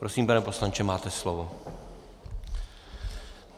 Prosím, pane poslanče, máte slovo.